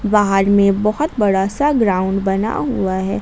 बाहर में बहुत बड़ा सा ग्राउंड बना हुआ है।